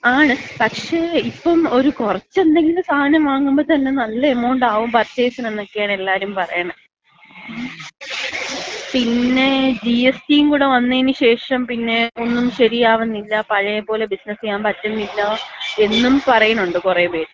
ആണ്, പക്ഷേ ഇപ്പം ഒര് കൊറച്ചെന്തെങ്കിലും സാധനം വാങ്ങുമ്പോത്തന്ന നല്ലൊരു എമൗണ്ട് ആവും പർച്ചേസിന് എന്നൊക്കെയാണ് എല്ലാരും പറയണെ. പിന്നെ ജി.എസ്.ടി.-യും കൂടെ വന്നേന് ശേഷം, പിന്നെ ഒന്നും ശരിയാവുന്നില്ല. പഴയപോലെ ബിസിനസ് ചെയ്യാമ്പറ്റുന്നില്ല എന്നും പറയുന്നുണ്ട് കുറെ പേര്.